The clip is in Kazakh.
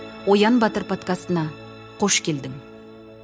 оян батыр подкастына қош келдің